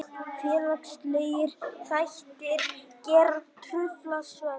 Félagslegir þættir geta truflað svefn.